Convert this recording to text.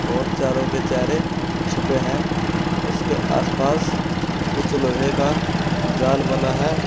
और चारों के चेहरे छुपे हैं उसके आसपास कुछ लोहे का जाल बना है।